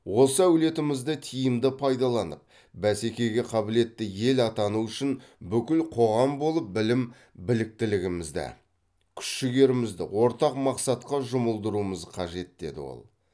осы әлеуетімізді тиімді пайдаланып бәсекеге қабілетті ел атану үшін бүкіл қоғам болып білім біліктілігімізді күш жігерімізді ортақ мақсатқа жұмылдыруымыз қажет деді ол